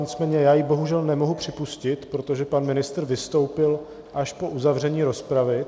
Nicméně já ji bohužel nemohu připustit, protože pan ministr vystoupil až po uzavření rozpravy.